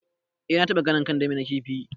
Eh na taba ganin kandami na kifi.